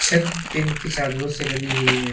छत टीन की चादरों से बनी हुई है।